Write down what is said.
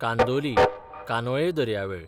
कांदोली, कानोये दर्यावेळ